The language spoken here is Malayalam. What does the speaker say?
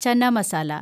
ചന മസാല